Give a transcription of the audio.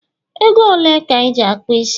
Ego ole ka Iji akpu isi?